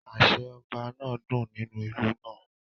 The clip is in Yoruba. Àṣẹ Ọba náà dún nínú ìlú náà